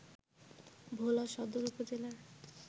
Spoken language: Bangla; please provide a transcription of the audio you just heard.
ভোলা সদর উপজেলার